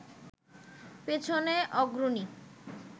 পেছনে অগ্রণী